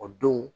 O don